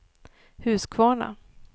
Huskvarna